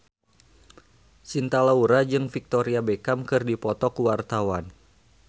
Cinta Laura jeung Victoria Beckham keur dipoto ku wartawan